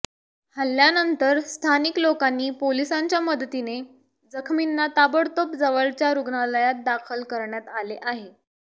हल्ल्यानंतर स्थानिक लोकांनी पोलिसांच्या मदतीने जखमींना ताबडतोब जवळच्या रुग्णालयात दाखल करण्यात आले आहे